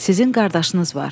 Sizin qardaşınız var.